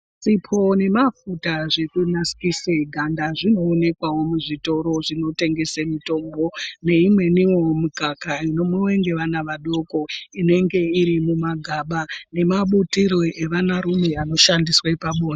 Sipo nemafuta zvekunasirise ganda zvinoonekwawo muzvitoro zvinotengese mitombo neimweniwo mikaka inomwiwe ngevana vadoko inenge iri mumagaba nemabutiro evanarume anoshandiswe pabonde.